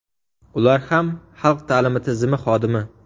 Ular ham xalq ta’limi tizimi xodimi.